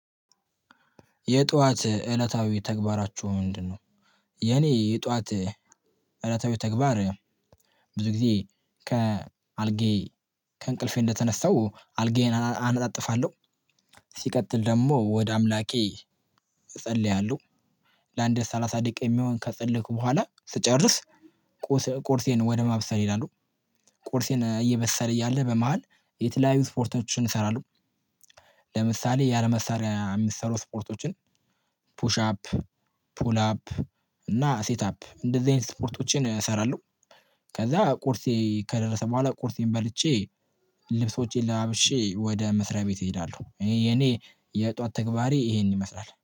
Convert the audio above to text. የጠዋት እለታዊ ተግባራችሁ ምንድን ነው? የኔ የጠዋት እለታዊ ተግባር ብዙ ጊዜ ከአልጌ ከእንቅልፌ እንደተነሳው አልጌን አነጣጥፋለሁ ሲቀጥል ደግሞ ወደ አምላኬ እጸልያለሁ ለአንዴ ሰላሳ ደቂቃ የሚሆን ከጸለይኩ በኋላ ስጨርስ ቁርሴን ወደ ማብሰር ይሄዳለው ቁርሴን እየበሰለ እያለ በመሃል የተለያዩ ስፖርቶችን እሰራለሁ ለምሳሌ ያለመሳሪያ የሚሰሩ ስፖርቶችን ፑሽ አፕ፣ ፑል አፕ እና ሴት አፕ እንደዚህ አይነት ስፖርቶችን እሰራለሁ ከዛ ቁርጼ ከደረሰ በኋላ ቁርሴን በልቼ ልብሶቼን ለባብሼ ወደ መስራቤት እሄዳለው። የኔ የጧት ተግባሬ ይሄን ይመስላል